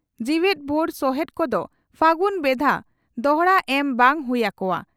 ᱡᱤᱣᱮᱫᱵᱷᱳᱨ ᱥᱚᱦᱮᱛ ᱠᱚᱫᱚ ᱯᱷᱟᱹᱜᱩᱱ ᱵᱷᱮᱫᱟ ᱫᱚᱦᱲᱟ ᱮᱢ ᱵᱟᱝ ᱦᱩᱭ ᱟᱠᱚᱜᱼᱟ ᱾